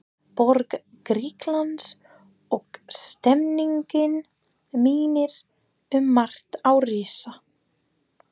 borg Grikklands, og stemmningin minnir um margt á risa